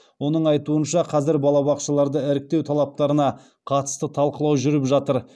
оның айтуынша қазір бақшаларды іріктеу талаптарына қатысты талқылау жүріп жатыр